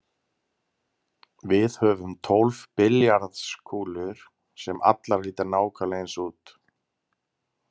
Við höfum tólf billjarðskúlur sem allar líta nákvæmlega eins út.